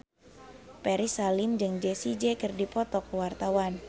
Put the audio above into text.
Ferry Salim jeung Jessie J keur dipoto ku wartawan